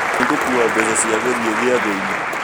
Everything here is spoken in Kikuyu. Nĩ ngũkua mbeca cia gũthiĩ gĩathĩ-inĩ